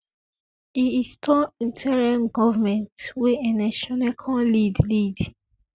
e install interim goment wey ernest shonekan lead lead